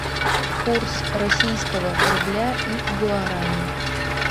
курс российского рубля и гуарани